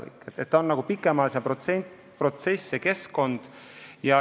See on pikem protsess, keskkonna kujundamine ei lähe kiiresti.